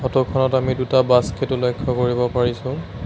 Photo খনত আমি দুটা বাস্কেটো লক্ষ্য কৰিব পাৰিছোঁ।